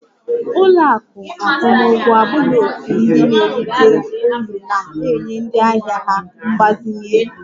Ụlọ akụ akwụmụgwọ abụghị òtù ndị na-erite uru na-enye ndị ahịa ha mgbazinye ego